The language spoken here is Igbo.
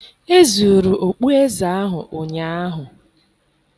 Ezuru okpueze ahụ ụnyaahụ